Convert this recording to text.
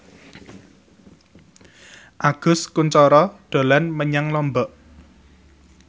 Agus Kuncoro dolan menyang Lombok